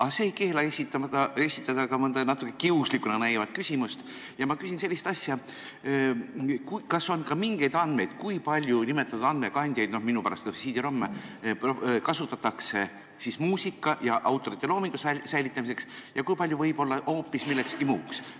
Aga see ei keela esitada ka mõnda natuke kiuslikuna näivat küsimust ja ma küsin sellist asja: kas on mingeid andmeid, kui palju nimetatud andmekandjaid, minu pärast kas või CD-ROM-e, kasutatakse muusika ja autorite loomingu säilitamiseks ning kui palju võib-olla hoopis millekski muuks?